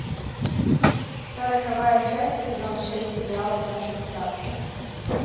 сороковая часть сезон шесть сериал однажды в сказке